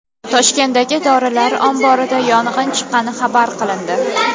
Toshkentdagi dorilar omborida yong‘in chiqqani xabar qilindi.